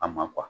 A ma